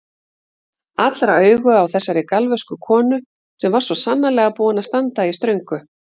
Allra augu á þessari galvösku konu sem var svo sannarlega búin að standa í ströngu.